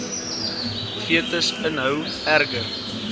fetus inhou erger